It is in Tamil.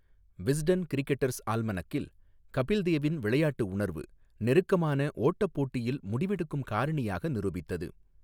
விஸ்டன் கிரிக்கெட்டர்ஸ் ஆல்மனக்கில், 'கபில் தேவின் விளையாட்டு உணர்வு நெருக்கமான ஓட்டப் போட்டியில் முடிவெடுக்கும் காரணியாக நிரூபித்தது.